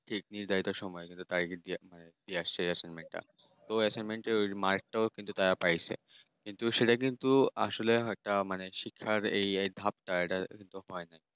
Kidney যাইতে সময় পাই যদি একটা, সেই অ্যাসাইনমেন্ট টা তো র মাত্রা কিন্তু তারা পাইছে কিন্তু সেটা কিন্তু আসলে একটা মানে শিক্ষা এটাতো নয়।